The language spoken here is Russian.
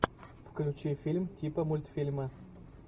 включи фильм типа мультфильма